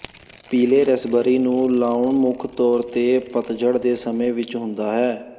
ਪੀਲੇ ਰਸਬੇਰੀ ਨੂੰ ਲਾਉਣਾ ਮੁੱਖ ਤੌਰ ਤੇ ਪਤਝੜ ਦੇ ਸਮੇਂ ਵਿਚ ਹੁੰਦਾ ਹੈ